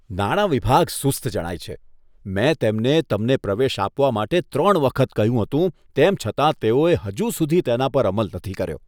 નાણાં વિભાગ સુસ્ત જણાય છે. મેં તેમને તમને પ્રવેશ આપવા માટે ત્રણ વખત કહ્યું હતું, તેમ છતાં તેઓએ હજુ સુધી તેના પર અમલ નથી કર્યો.